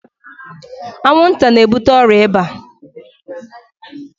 Anwụnta na-ebute ọrịa ịba.